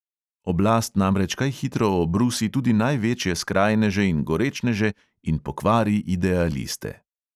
Oblast namreč kaj hitro obrusi tudi največje skrajneže in gorečneže in pokvari idealiste.